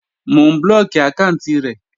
Mò ń blóòkì àkáànti rẹ̀